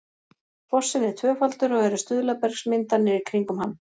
fossinn er tvöfaldur og eru stuðlabergsmyndanir í kringum hann